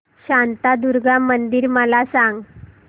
शांतादुर्गा मंदिर मला सांग